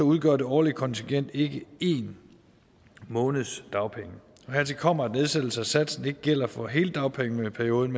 udgør det årlige kontingent ikke én måneds dagpenge hertil kommer at nedsættelsen af satsen ikke gælder for hele dagpengeperioden